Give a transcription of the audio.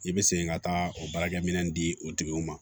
I bɛ segin ka taa o baarakɛminɛnw di o tigiw ma